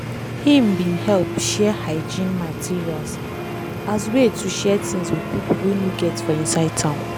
him bin help share hygiene materials as way to share things with pipo wey no get for inside town.